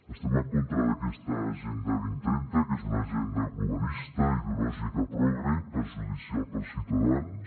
estem en contra d’aquesta agenda dos mil trenta que és una agenda globalista ideològica progre perjudicial per als ciutadans